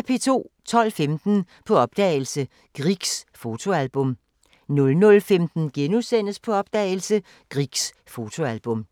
12:15: På opdagelse – Griegs fotoalbum 00:15: På opdagelse – Griegs fotoalbum *